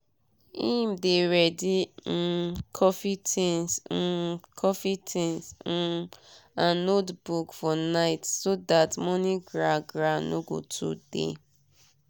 him dey ready um coffee tinz um coffee tinz um and notebook for night so that morning gra gra no go too dey